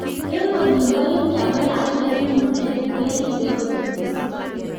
Eng olin boo India ko lakwet ne mureen keripee koot misiing